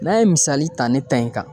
N'a ye misali ta ne ta in kan